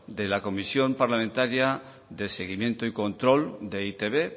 de la comisión parlamentaria de seguimiento y control de e i te be